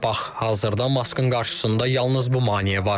Bax, hazırda Maskın qarşısında yalnız bu maneə var.